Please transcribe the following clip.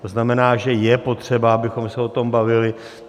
To znamená, že je potřeba, abychom se o tom bavili.